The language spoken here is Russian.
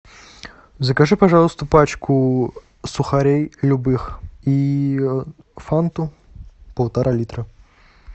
закажи пожалуйста пачку сухарей любых и фанту полтора литра